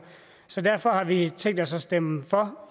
så derfor har vi i tænkt os at stemme for